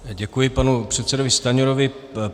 Děkuji panu předsedovi Stanjurovi.